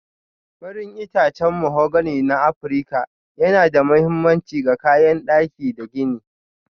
Farin itacen mahogani na Afirka yana da mahimmanci ga kayan daki da gini.